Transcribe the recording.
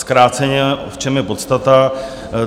Zkráceně, v čem je podstata.